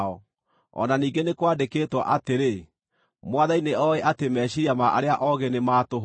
o na ningĩ nĩ kwandĩkĩtwo atĩrĩ, “Mwathani nĩoĩ atĩ meciiria ma arĩa oogĩ nĩ ma tũhũ.”